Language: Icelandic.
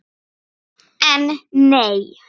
En nei!